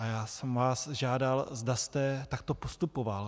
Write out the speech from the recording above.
A já jsem vás žádal, zda jste takto postupoval.